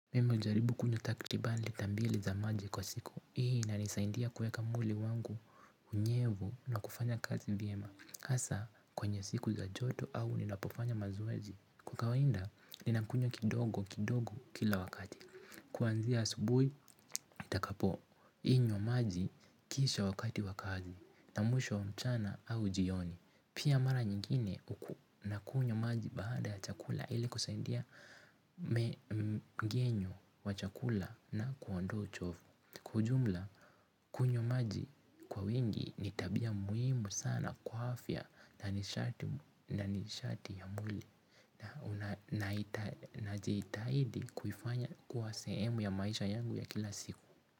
Mimi hujaribu kunywa takriban lita mbili za maji kwa siku. Hii inanisaindia kuweka mwili wangu unyevu na kufanya kazi vyema. Hasa, kwenye siku za joto au ninapofanya mazoezi. Kwa kawaida, ninakunywa kidogo kidogo kila wakati. Kwanzia asubuhi, nitakapo. Inywa maji kisha wakati wa kazi. Na mwisho mchana au jioni. Pia mara nyingine na kunywa maji baada ya chakula ili kusaidia mmengenyo wa chakula na kuondoa uchovu. Kwa ujumla, kunywa maji kwa wingi, ni tabia muhimu sana kwa afya na nishati ya mle. Najitahidi kuifanya kuwa sehemu ya maisha yangu ya kila siku.